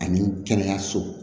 Ani kɛnɛyaso